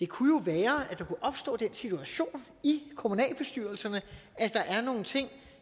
kunne være at der kunne opstå den situation i kommunalbestyrelserne at der er nogle ting